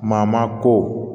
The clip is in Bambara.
Maa maa ko